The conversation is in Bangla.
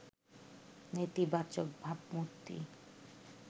নেতিবাচক ভাবমূর্তি